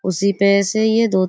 उसी पे से ये धुत --